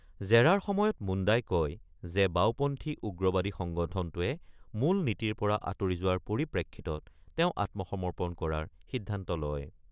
জেৰাৰ সময়ত মুণ্ডাই কয় যে বাওপন্থী উগ্ৰবাদী সংগঠনটোৱে মূল নীতিৰ পৰা আঁতৰি যোৱাৰ পৰিপ্ৰেক্ষিতত তেওঁ আত্মসমৰ্পণ কৰাৰ সিদ্ধান্ত লয়।